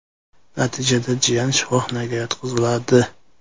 Natijada jiyani shifoxonaga yotqiziladi.